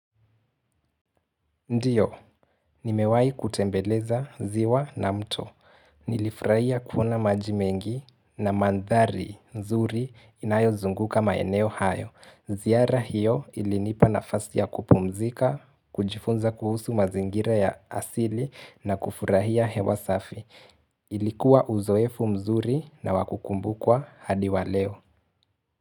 Ndio, nimewai kutembeleza ziwa na mto. Nilifurahia kuona maji mengi na mandhari nzuri inayozunguka maeneo hayo. Ziara hiyo ilinipa nafasi ya kupumzika, kujifunza kuhusu mazingira ya asili na kufurahia hewa safi. Ilikuwa uzoefu mzuri na wa kumbukwa kwa hadi wa leo.